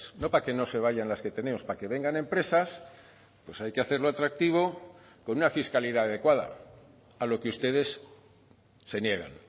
no para que no se vayan las que tenemos para que vengan empresas hay que hacerlo atractivo con una fiscalidad adecuada a lo que ustedes se niegan